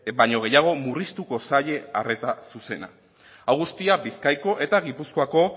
baino gehiago murriztuko zaie arreta zuzena hau guztia bizkaiko eta gipuzkoako